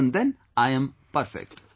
Even then I am perfect